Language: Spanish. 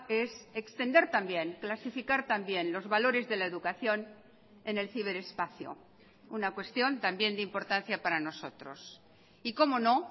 es extender también clasificar también los valores de la educación en el ciberespacio una cuestión también de importancia para nosotros y cómo no